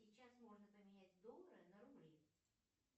сейчас можно поменять доллары на рубли